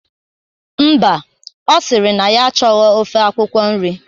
Mba, ọ sịrị na ya achọghọ ofe akwụkwọ nri